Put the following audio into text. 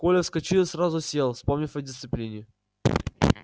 коля вскочил и сразу сел вспомнив о дисциплине